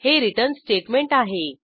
हे return statement आहे